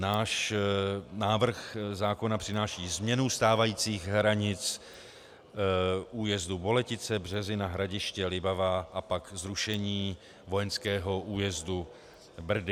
Náš návrh zákona přináší změnu stávajících hranic újezdu Boletice, Březina, Hradiště, Libavá a pak zrušení vojenského újezdu Brdy.